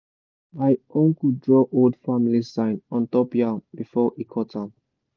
my uncle draw old family sign on top the yam before he cut am.